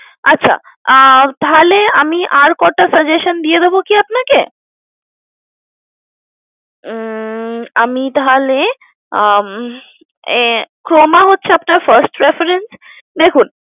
আচ্ছা আহ তাহলে আমি আর কটা suggestion দিয়ে দেব কি আপনাকে? উম আমি তাহলে আহ উম Croma হচ্ছে আপনার first reference দেখুন